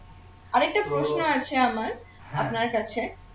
আরেকটা প্রশ্ন আছে আমার আপনার কাছে